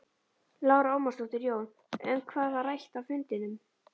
Lára Ómarsdóttir: Jón, um hvað var rætt á fundinum?